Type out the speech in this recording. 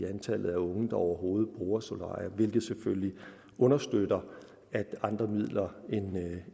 antallet af unge der overhovedet bruger solarier hvilket selvfølgelig understøtter at andre midler